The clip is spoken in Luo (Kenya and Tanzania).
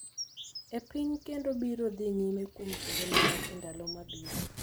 e piny kendo biro dhi nyime kuom kinde malach e ndalo mabiro.